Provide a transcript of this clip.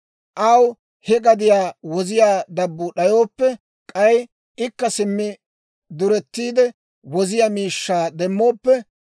Aw he gadiyaa woziyaa dabbuu d'ayooppe, k'ay ikka simmi duretiide woziyaa miishshaa demmooppe,